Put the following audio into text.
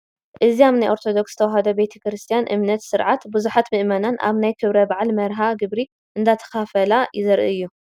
አዚ ኣብ ናይ ኦርቶዶክስ ተዋህዶ ቤተ ክርስትያን እምነት ስርዓት ብዙሓት ምእመናን ኣብ ናይ ክብረ በዓል መርሃ ግብሪ እንዳተኻፈላ ዘርኢ እዩ፡፡